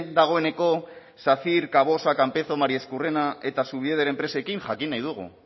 dagoeneko sacyr cavosa campezo mariezcurrena eta zubieder enpresekin jakin nahi dugu